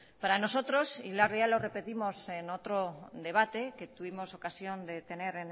para nosotros y ya lo repetimos en otro debate que tuvimos ocasión de tener